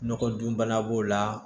Nɔgɔ dun bana b'o la